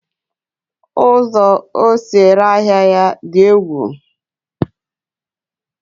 ụzọ o si ere ahịa ya dị egwu.